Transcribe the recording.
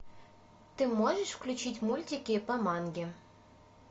ты можешь включить мультики по манге